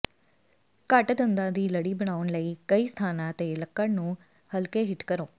ਘੱਟ ਦੰਦਾਂ ਦੀ ਲੜੀ ਬਣਾਉਣ ਲਈ ਕਈ ਸਥਾਨਾਂ ਤੇ ਲੱਕੜ ਨੂੰ ਹਲਕੇ ਹਿੱਟ ਕਰੋ